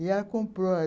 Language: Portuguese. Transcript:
E ela comprou.